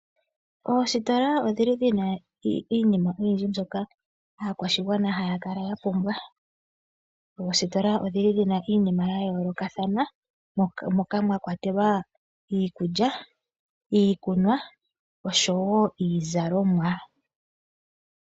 Oositola odhili dhina iinima oyindji mbyoka aakwashigwana haya kala ya pumbwa. Oositola odhili dhina iinima ya yoolokathana moka mwa kwatelwa iikulya, iikunwa niizalomwa.